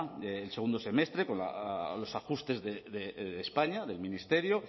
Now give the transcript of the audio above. el segundo semestre con los ajustes de españa del ministerio